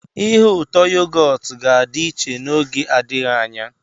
Ihe ụtọ yogọt ga-adị iche n'oge adịghị anya.